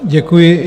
Děkuji.